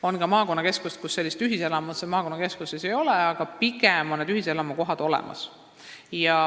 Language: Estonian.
On maakonnakeskusi, kus ühiselamut ei ole, aga ühiselamukohad on pigem olemas.